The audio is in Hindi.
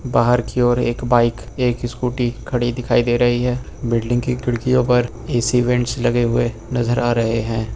बाहर की ओर एक बाइक एक स्कूटी खड़ी दिखाई दे रही है बिल्डिंग की खिड़कियों पर ए_सी वेंट्स लगे हुए नजर आ रहे हैं।